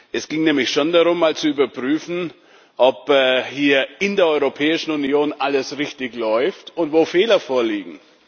Es ging nämlich schon darum, mal zu überprüfen, ob hier in der Europäischen Union alles richtig läuft und wo Fehler vorliegen.